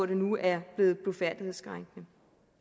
det nu er blevet blufærdighedskrænkende